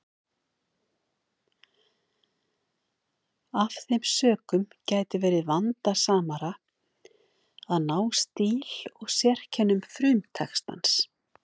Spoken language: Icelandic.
Af þeim sökum gæti verið vandasamara að ná stíl og sérkennum frumtextans.